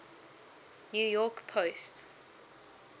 new york post